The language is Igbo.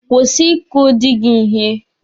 Kwụsị ị kụ dị gị ihe!